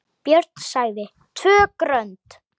Björn sagði TVÖ GRÖND!